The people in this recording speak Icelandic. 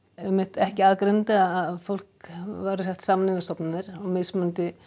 ekki aðgreinandi að fólk væri sett saman inn á stofnanir mismunandi